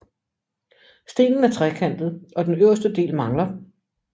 Stenen er trekantet og den øverste del mangler